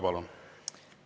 Palun!